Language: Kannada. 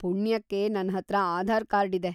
ಪುಣ್ಯಕ್ಕೆ ನನ್ಹತ್ರ ಆಧಾರ್‌ ಕಾರ್ಡ್‌ ಇದೆ.